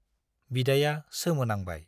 बिदाया सोमो नांबाय।